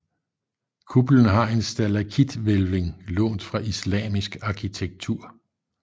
Kuppelen har en stalaktithvælving lånt fra islamisk arkitektur